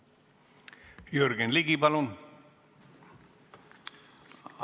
Jürgen Ligi, palun!